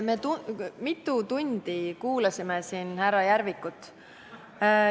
Me mitu tundi kuulasime siin härra Järvikut.